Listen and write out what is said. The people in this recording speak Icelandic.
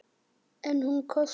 En hún kostar.